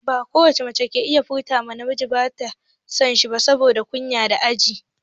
Ba ko wace mace ke iya furta ma namiji ba in tana son shi saboda kunya da jan aji.